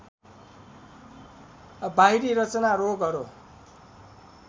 बाहिरी रचना रोगहरू